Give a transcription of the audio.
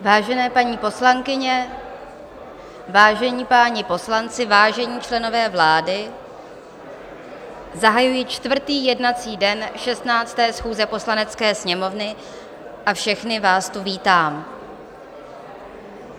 Vážené paní poslankyně, vážení páni poslanci, vážení členové vlády, zahajuji čtvrtý jednací den 16. schůze Poslanecké sněmovny a všechny vás tu vítám.